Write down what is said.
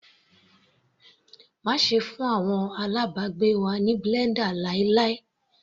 Má ṣe fún àwọn alábàgbé wa ní blender láíláí.